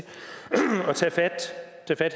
at tage fat